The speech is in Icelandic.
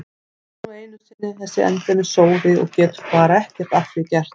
Hún er nú einu sinni þessi endemis sóði og getur bara ekki að því gert.